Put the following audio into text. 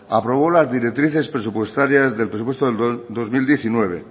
aprobó las directrices presupuestarias del presupuesto del dos mil diecinueve